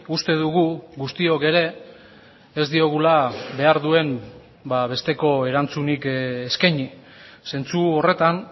uste dugu guztiok ere ez diogula behar duen besteko erantzunik eskaini zentzu horretan